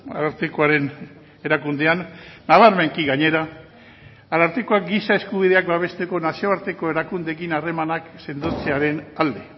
arartekoaren erakundean nabarmenki gainera arartekoak giza eskubideak babesteko nazioarteko erakundeekin harremanak sendotzearen alde